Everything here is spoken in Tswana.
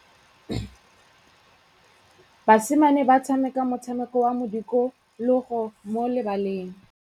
Basimane ba tshameka motshameko wa modikologô mo lebaleng.